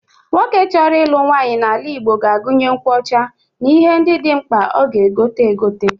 Nwoke chọrọ ịlụ nwaanyị n'ala ga-agụnye nkwụ ọcha n'ihe ndị dị mkpa ọ ga-egote egote.